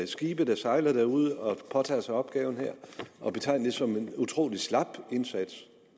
skibe der sejler derude og påtager sig opgave som en utrolig slap indsats